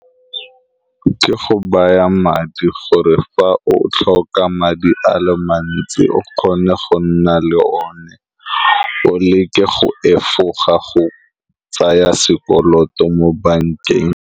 Ke go baya madi gore, fa o tlhoka madi a le mantsi, o kgone go nna le one. O leke go efoga go tsaya sekoloto mo bankeng.